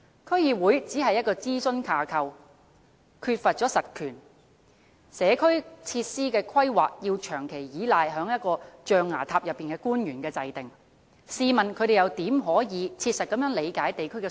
區議會只是諮詢架構，缺乏實權，社區設施的規劃要依賴長期在"象牙塔"內的官員制訂，試問他們又如何可以切實理解地區的需要？